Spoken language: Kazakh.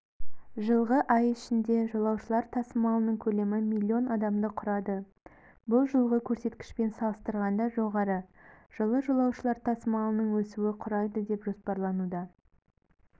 жылғы ай ішінде жолаушылар тасымалының көлемі млн адамды құрады бұл жылғы көрсеткішпен салыстырғанда жоғары жылы жолаушылар тасымалының өсуі құрайды деп жоспарлануда